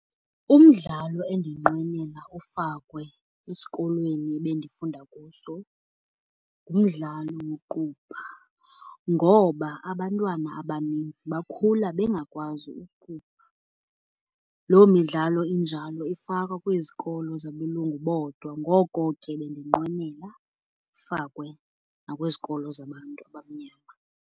Umdlalo endinqwenela ufakwe esikolweni ebendifunda kuso ngumdlalo woqubha ngoba abantwana abanintsi bakhula bengakwazi uqubha. Loo midlalo injalo ifakwa kwizikolo zabelungu bodwa. Ngoko ke bendinqwenela ifakwe nakwizikolo zabantu abamnyama.